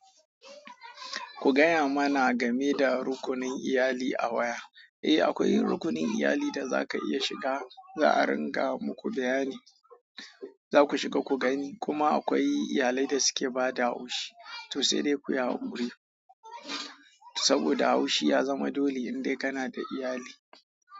Ku gaya mana game da rukunin iyali a waya. Ehh akwai rukunin iyali da zaka iya shiga za'a ringa muku bayani. Za ku shiga ku gani. Kuma akwai iyalai da suke ba da haushi, to sai dai kuyi hakuri. Saboda haushi ya zama dole in dai kana da iyali.